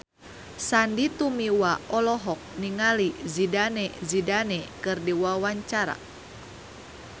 Sandy Tumiwa olohok ningali Zidane Zidane keur diwawancara